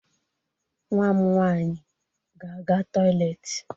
Nwa m nwaanyị ga-aga toịletị.